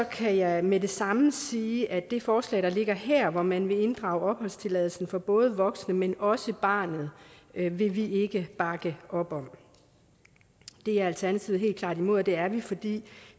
kan jeg med det samme sige at det forslag der ligger her hvor man vil inddrage opholdstilladelsen for både voksne men også barnet vil vi ikke bakke op om det er alternativet helt klart imod og det er vi fordi